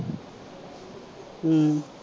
ਹਮ